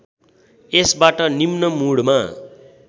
यसबाट निम्न मुडमा